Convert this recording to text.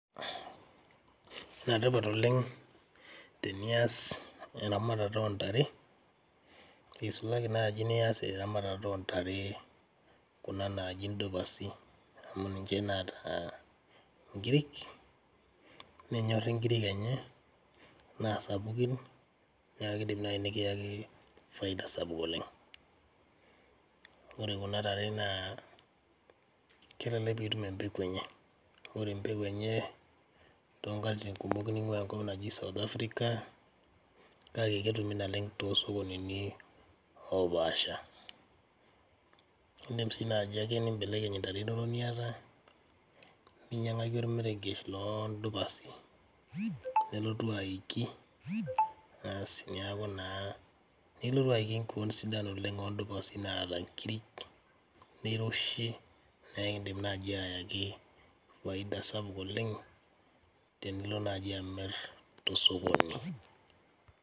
Netipat oleng teniyas eramatata oontare, eisulaki naaji iniyas eramatat oontare kuna naaji ndupasi amu ninche naata nkirik, nenyorri nkirik enyena, naa sapukin naa keidim naii nikieki faida sapuk oleng kore kuna tare naa kelelk piitum embeku enye, ore embeku enye too nkatitin kumok neing'uaa nkop naji South africa kake ketumi nalen too sokonini opaasha, iindima siake naaji nimbelekeny intare inono niata ninyang'ako ormerekesh loo ndupasi, nelotu aiki, baas neaku naa nelotu aiki keon sidan oleng ondupasi naa nkirik, neiroshi naa ikiidim naii aeki faida sapuk oleng tenilo naaji amirr te sokoni.